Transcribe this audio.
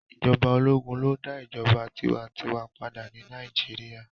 Ijọba ologun lo da ijọba tiwantiwa pada ni Nàìjíríà